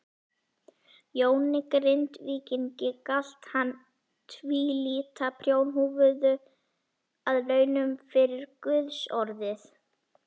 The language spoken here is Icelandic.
Jóni Grindvíkingi galt hann tvílita prjónahúfu að launum fyrir guðsorðið.